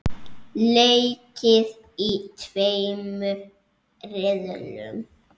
Leikið í tveimur riðlum.